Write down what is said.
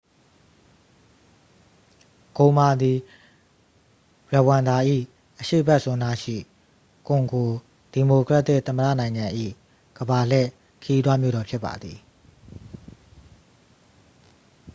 ဂိုမာ သည် ရဝမ်ဒါ၏ အရှေ့ဘက်စွန်းနားရှိ ကွန်ဂို ဒီမိုကရက်တစ်သမ္မတနိုင်ငံ၏ ကမ္ဘာလှည့်ခရီးသွားမြို့တော်ဖြစ်ပါသည်